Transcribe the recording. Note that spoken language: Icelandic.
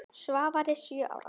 Svavari sjö ára.